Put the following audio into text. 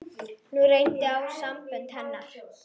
Nú reyndi á sambönd hennar.